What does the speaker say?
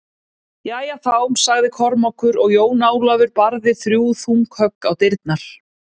Jæja þá, sagði Kormákur og Jón Ólafur barði þrjú þung högg á dyrnar.